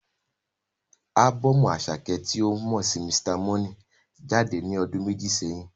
Ábọ́ọ̀mù Àṣàkẹ́ tí a mọ sí Mr. Money jáde ní ọdún méjì sẹ́yìn.